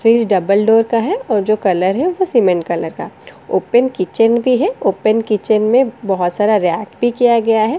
Fridge double door का है और जो कलर है वो सीमेंट कलर का ओपन किचन भी है ओपन किचन में बहुत सारा रैक भी किया गया है।